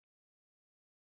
Svo verði að vera.